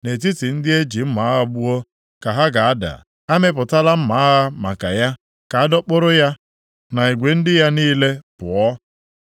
Nʼetiti ndị e ji mma agha gbuo ka ha ga-ada. Amịpụtala mma agha maka ya, ka a dọkpụrụ ya na igwe ndị ya niile pụọ.